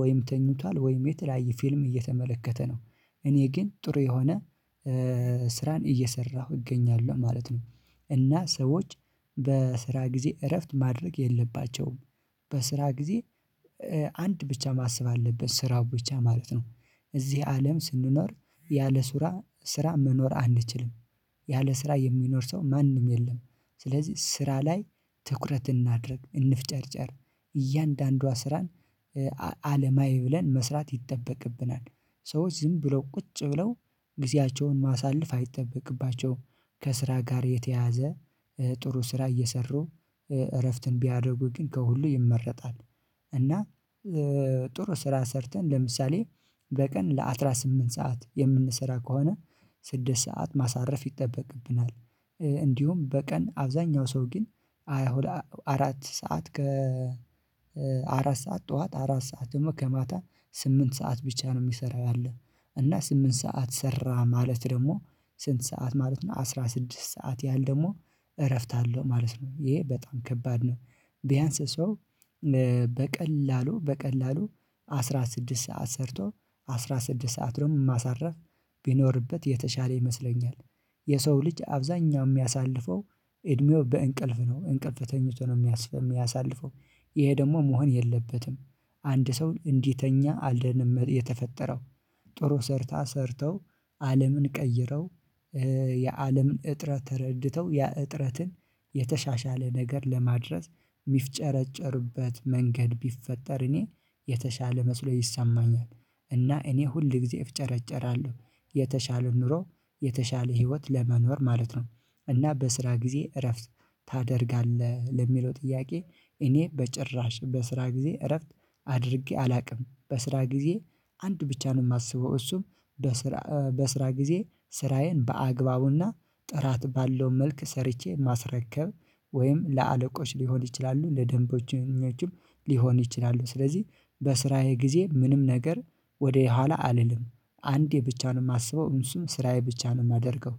ወይም ተኝቷል ወይም የተለያየ ፊልም እየተመለከተ ነው። እኔ ግን ጥሩ የሆነ ስራን እየሰራሁ እገኛለሁ ማለት ነው። እና ሰዎች በስራ ጊዜ እረፍት ማድረግ የለባቸውም። በስራ ጊዜ አንድ ብቻ ማሰብ አለበት ስራ ብቻ ማለት ነው። እዚህ አለም ስንኖር ያለ ስራ ስራ መኖር አንችልም። ያለ ስራ የሚኖር ሰው ማንም የለም። ስለዚህ ስራ ላይ ትኩረት እናድርግ እንፍጨርጨር እያንዳንዷ ስራን አለማይ ብለን መስራት ይጠበቅብናል። ሰዎች ዝም ብለው ቁጭ ብለው ጊዜያቸውን ማሳለፍ አይጠበቅባቸውም። ከስራ ጋር የተያያዘ ጥሩ ስራ እየሰሩ እረፍትን ቢያደርጉ ግን ከሁሉ ይመረጣል። እና ጥሩ ስራ ሰርተን ለምሳሌ በቀን ለአሥራ ስምንት ሰዓት የምንሰራ ከሆነ ስድስት ሰዓት ማሳረፍ ይጠበቅብናል። እንዲሁም በቀን አብዛኛው ሰው ግን አራት ሰዓት ከ አራት ሰዓት ጠዋት አራት ሰዓት እመ ከማታ ስምንት ሰዓት ብቻ ነው የሚሰራው አለ። እና ስምንት ሰዓት ሰራ ማለት ደግሞ ስንት? ሰዓት ማለት ነው አስራ ስድስት ሰዓት ያህል ደግሞ እረፍት አለው ማለት ነው ይሄ በጣም ከባድ ነው። ቢያንስ ሰው በቀላሉ በቀላሉ አስራ ስድስት ሰዓት ሰርቶ አስራ ስድስት ሰዓትንም ማሳረፍ ቢኖርበት የተሻለ ይመስለኛል። የሰው ልጅ አብዛኛው የሚያሳልፈው እድሜው በእንቅልፍ ነው እንቅልፍ ተኝቶ ነው የሚያስፈልግ የሚያሳልፈው ይሄ ደግሞ መሆን የለበትም። አንድ ሰው እንዲተኛ አይደለም የተፈጠረው። ጥሩ ሰርታ ሰርተው አለምን ቀይረው የአለምን እጥረት ተረድተው ያ እጥረትን የተሻሻለ ነገር ለማድረስ የሚፍጨረጨሩበት መንገድ ቢፈጠር እኔ የተሻለ መስሎ ይሰማኛል። እና እኔ ሁል ጊዜ እፍጨረጨራለሁ። የተሻለው ኑሮ የተሻለ ህይወት ለመኖር ማለት ነው። እና በስራ ጊዜ እረፍት ታደርጋለህ ለሚለው ጥያቄ እኔ በጭራሽ በስራ ጊዜ እረፍት አድርጌ አላውቅም። በስራ ጊዜ አንድ ብቻ ነው የማስበው እሱም በስራ በስራ ጊዜ ስራዬን በአግባቡና ጥራት ባለው መልክ ሰርቼ ማስረከብ። ወይም ለአለቆች ሊሆን ይችላሉ ለደንቦቹኞችም ሊሆን ይችላሉ። ስለዚህ በስራዬ ጊዜ ምንም ነገር ወደኋላ አልልም። አንዴ ብቻ ነው የማስበው እንስሳዬ ስራዬ ብቻ ነው የማደርገው።